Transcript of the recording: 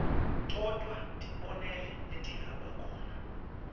todvwa tibonelo letingabakhona